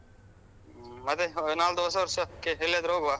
ಹ್ಮ್ ಮತ್ತೆ ನಾಲ್ದು ಹೊಸ ವರ್ಷಕ್ಕೆ ಎಲ್ಲಿಯಾದ್ರು ಹೋಗುವ.